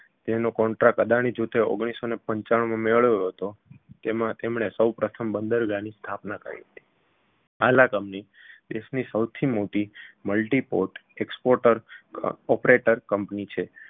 તેનો contract અદાણી જૂથે ઓગણીસસોને પંચાણુમાં મેળવ્યો હતો તેમણે સૌ પ્રથમ બંદરગાહની સ્થાપના કરી હાલ આ company દેશની સૌથી મોટી multiport exporter operator